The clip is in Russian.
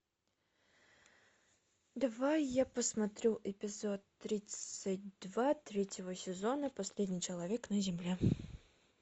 давай я посмотрю эпизод тридцать два третьего сезона последний человек на земле